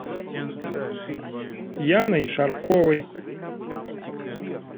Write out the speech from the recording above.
яной шарковой